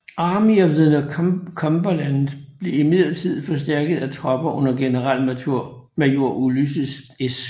Army of the Cumberland blev imidlertid forstærket af tropper under generalmajor Ulysses S